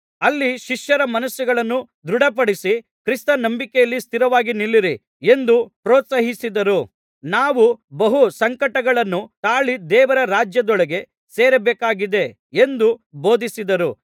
ಅಲ್ಲಿ ಶಿಷ್ಯರ ಮನಸ್ಸುಗಳನ್ನು ದೃಢಪಡಿಸಿ ಕ್ರಿಸ್ತ ನಂಬಿಕೆಯಲ್ಲಿ ಸ್ಥಿರವಾಗಿ ನಿಲ್ಲಿರಿ ಎಂದು ಪ್ರೋತ್ಸಾಹಿಸಿದರು ನಾವು ಬಹು ಸಂಕಟಗಳನ್ನು ತಾಳಿ ದೇವರ ರಾಜ್ಯದೊಳಗೆ ಸೇರಬೇಕಾಗಿದೆ ಎಂದು ಬೋಧಿಸಿದರು